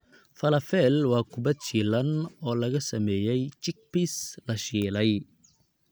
Falafel waa kubad shiilan oo laga sameeyay chickpeas la shiilay.